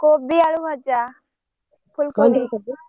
କୋବି ଆଳୁ ଭଜା ଫୁଲକୋବି ବନ୍ଧାକୋବି।